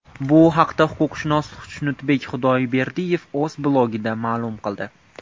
Bu haqda huquqshunos Xushnudbek Xudoyberdiyev o‘z blogida ma’lum qildi .